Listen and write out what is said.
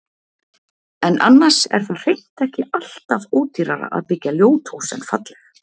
En annars er það hreint ekki allt af ódýrara að byggja ljót hús en falleg.